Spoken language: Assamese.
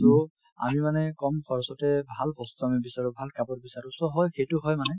so, আমি মানে কম খৰচতে ভাল বস্তু আমি বিচাৰো ভাল কাপোৰ বিচাৰো so হয় সেইটো হয় মানে